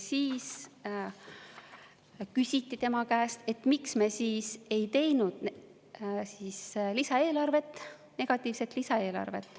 Siis küsiti tema käest, et miks me siis ei teinud lisaeelarvet, negatiivset lisaeelarvet.